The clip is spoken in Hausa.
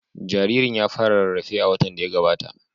Jaririn ya fara rarrafe a watan da ya gabata.